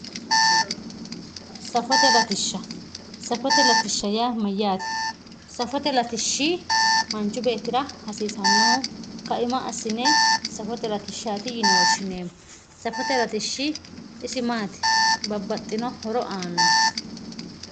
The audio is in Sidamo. Safote latisha safote latisha ya mayate safote latisha manchi betira hasisanoho kaima asime safote latishati yine woshinemo safote latishi isi mati babaxino horo anoho